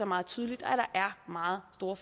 meget tydeligt at der er meget store